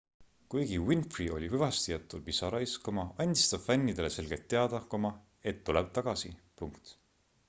kuigi winfrey oli hüvastijätul pisarais andis ta fännidele selgelt teada et tuleb tagasi